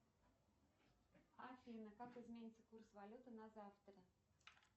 афина как изменится курс валюты на завтра